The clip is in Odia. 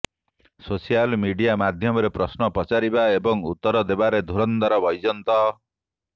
ସୋସିଆଲ ମିଡିଆ ମାଧ୍ୟମରେ ପ୍ରଶ୍ନ ପଚାରିବା ଏବଂ ଉତ୍ତର ଦେବାରେ ଧୂରନ୍ଧର ବୈଜୟନ୍ତ